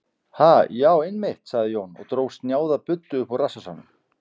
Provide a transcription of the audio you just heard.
Ha, já, einmitt, sagði Jón og dró snjáða buddu upp úr rassvasanum.